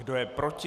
Kdo je proti?